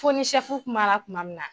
Fo ni sɛfu kumara tuma min na